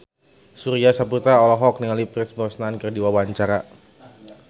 Surya Saputra olohok ningali Pierce Brosnan keur diwawancara